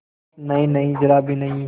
नहींनहीं जरा भी नहीं